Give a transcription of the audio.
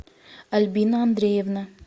альбина андреевна